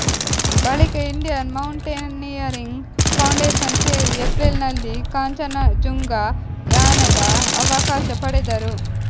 ಬಳಿಕ Indian mountaineering foundation ಸೇರಿ ಎಪ್ರಿಲ್ನಲ್ಲಿ ಕಾಂಚನಜುಂಗಾ ಯಾನದ ಅವಕಾಶ ಪಡೆದರು